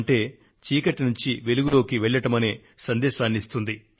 అంటే చీకటి నుండి వెలుగులోకి వెళ్లడమనే సందేశాన్ని అందిస్తుంది